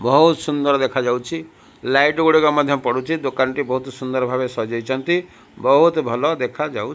ବହୁତ ସୁନ୍ଦର ଦେଖାଯାଉଛି ଲାଇଟ ଗୁଡିକ ମଧ୍ୟ ପଡୁଛି ଦୋକାନଟି ବହୁତ ସୁନ୍ଦର ଭାବେ ସଜ୍ଜଇଛନ୍ତି ବହୁତ ଭଲ ଦେଖାଯାଉ --